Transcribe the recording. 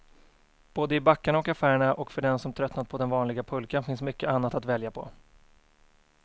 Både i backarna och affärerna, och för den som tröttnat på den vanliga pulkan finns mycket annat att välja på.